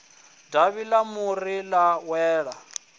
davhi ḽa muri ḽa wela